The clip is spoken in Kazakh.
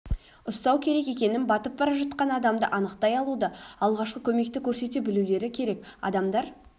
ұстау керек екенін батып бара жатқан адамды анықтай алуды алғашқы көмекті көрсете білулері керек адамдар